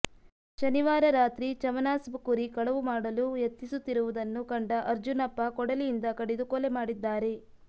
ಶನಿವಾರ ರಾತ್ರಿ ಚಮನ್ಸಾಬ್ ಕುರಿ ಕಳವು ಮಾಡಲು ಯತ್ನಿಸುತ್ತಿರುವುದನ್ನು ಕಂಡ ಅರ್ಜುನಪ್ಪ ಕೊಡಲಿಯಿಂದ ಕಡಿದು ಕೊಲೆ ಮಾಡಿದ್ದಾರೆ